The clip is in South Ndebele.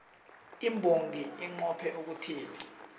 imbongi inqophe ukuthini